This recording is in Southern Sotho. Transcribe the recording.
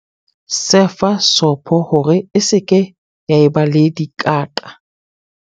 sefa sopo hore e se ke ya eba le dikaqa